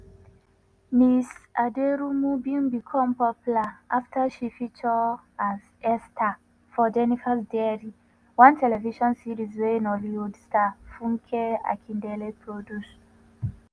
ms aderounmu bin become popular afta she feature as esther for jenifa’s diary – one television series wey nollywood star funke akindele produce.